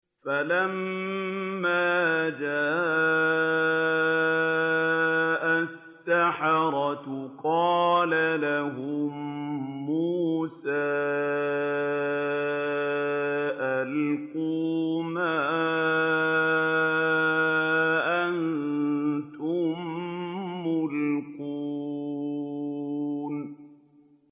فَلَمَّا جَاءَ السَّحَرَةُ قَالَ لَهُم مُّوسَىٰ أَلْقُوا مَا أَنتُم مُّلْقُونَ